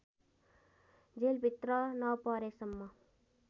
जेलभित्र नपरेसम्म